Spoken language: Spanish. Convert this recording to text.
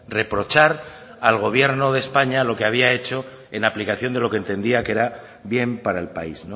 reprochar al gobierno de españa lo que había hecho en la aplicación de lo que entendía que era bien para el país